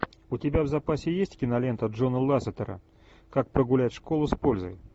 у тебя в запасе есть кинолента джона лассетера как прогулять школу с пользой